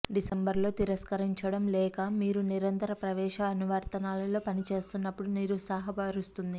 డిసెంబరులో తిరస్కరించడం లేఖ మీరు నిరంతర ప్రవేశ అనువర్తనాల్లో పని చేస్తున్నప్పుడు నిరుత్సాహపరుస్తుంది